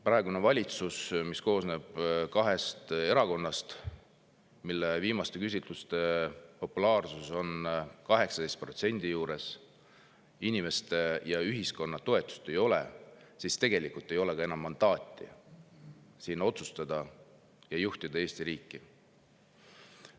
Praegusel valitsusel, mis koosneb kahest erakonnast, mille populaarsus viimaste küsitluste järgi on 18% juures, inimeste ja ühiskonna toetust ei ole ja tegelikult ei ole ka enam mandaati otsustada ja Eesti riiki juhtida.